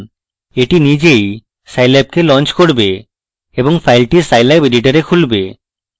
এটি নিজেই সাইল্যাবকে launch করবে এবং file scilab editor খুলবে